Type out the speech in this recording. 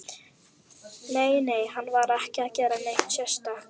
Nei, nei, hann var ekki að gera neitt sérstakt.